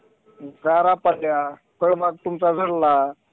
गारा पडल्या फळबाग तुमचा झडला.